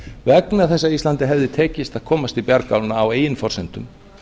vegna þess að íslandi hefði tekist að komast til bjargálna á eigin forsendum